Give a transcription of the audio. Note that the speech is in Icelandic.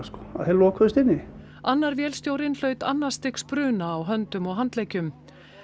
að þeir lokuðust inni annar vélstjórinn hlaut annars stigs bruna á höndum og handleggjum